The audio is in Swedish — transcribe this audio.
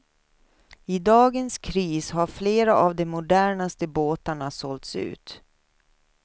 I dagens kris har flera av de modernaste båtarna sålts ut.